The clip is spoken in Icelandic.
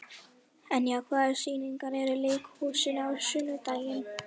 Enja, hvaða sýningar eru í leikhúsinu á sunnudaginn?